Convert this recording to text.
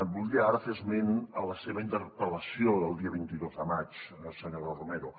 voldria ara fer esment a la seva interpel·lació del dia vint dos de maig senyora romero